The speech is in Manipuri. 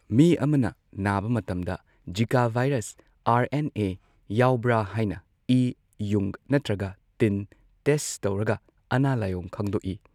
ꯃꯤ ꯑꯃꯅ ꯅꯥꯕ ꯃꯇꯝꯗ Zika virus R N A ꯌꯥꯎꯕ꯭ꯔ ꯍꯥꯏꯅ ꯏ, ꯌꯨꯡ ꯅꯠꯇ꯭ꯔꯒ ꯇꯤꯟ ꯇꯦꯁꯠ ꯇꯧꯔꯒ ꯑꯅꯥ ꯂꯥꯏꯑꯣꯡ ꯈꯪꯗꯣꯛꯏ꯫